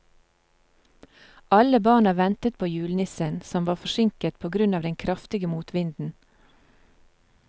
Alle barna ventet på julenissen, som var forsinket på grunn av den kraftige motvinden.